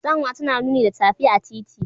Tsanwa tana nuni da tafi a titi.